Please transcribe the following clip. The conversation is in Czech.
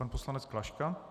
Pan poslanec Klaška.